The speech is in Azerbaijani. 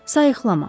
Sayiqlama.